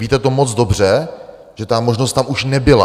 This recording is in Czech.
Víte to moc dobře, že ta možnost tam už nebyla.